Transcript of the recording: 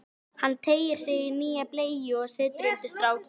Hann teygir sig í nýja bleyju og setur undir strákinn.